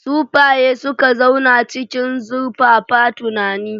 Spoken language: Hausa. Sufaye suka zauna cikin zurfafa tunani,